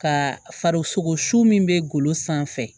Ka farisogo su min bɛ golo sanfɛ